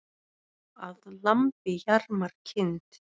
Að lambi jarmar kind.